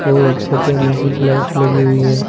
और छतों में कुछ लाइट लगी हुई है।